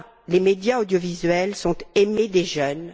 Les médias audiovisuels sont aimés des jeunes.